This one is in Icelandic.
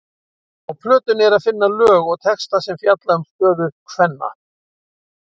Á plötunni er að finna lög og texta sem fjalla um stöðu kvenna.